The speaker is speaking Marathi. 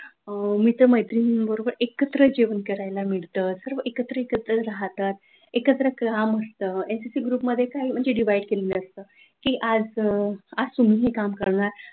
मित्र-मैत्रिणी बरोबर एकत्र जेवण करायला मिळतं, किंवा सर्व एकत्र एकत्र राहतात एकत्र काम असतं, एमपीएससी ग्रुप मध्ये काय म्हणजे डिव्हाईड केलेलं असतं, की आज तुम्ही हे काम करणार,